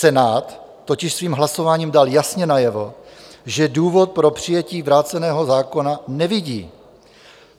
Senát totiž svým hlasováním dal jasně najevo, že důvod pro přijetí vráceného zákona nevidí.